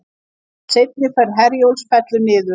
Seinni ferð Herjólfs fellur niður